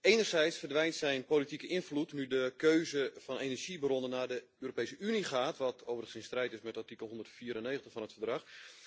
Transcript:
Enerzijds verdwijnt zijn politieke invloed nu de keuze van energiebronnen naar de Europese Unie gaat, wat overigens in strijd is met artikel 194 van het Verdrag.